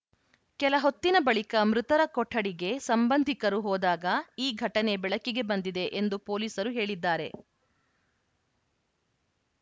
ಕೆಲ ಹೊತ್ತಿನ ಬಳಿಕ ಮೃತರ ಕೊಠಡಿಗೆ ಸಂಬಂಧಿಕರು ಹೋದಾಗ ಈ ಘಟನೆ ಬೆಳಕಿಗೆ ಬಂದಿದೆ ಎಂದು ಪೊಲೀಸರು ಹೇಳಿದ್ದಾರೆ